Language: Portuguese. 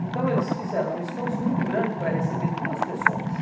Então eles fizeram um esforço muito grande para receber duas pessoas.